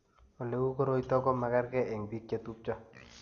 Ole u koroito ko magerge eng' biko chetupcho.